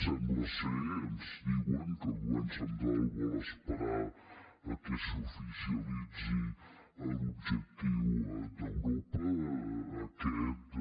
sembla ens diuen que el govern central vol esperar que s’oficialitzi l’objectiu d’europa aquest de